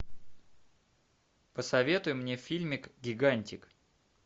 посоветуй мне фильмик гигантик